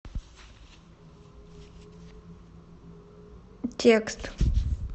текст